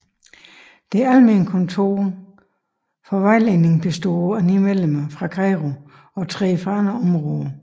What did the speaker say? Det almene kontor for vejledning består af ni medlemmer fra Cairo og tre fra andre områder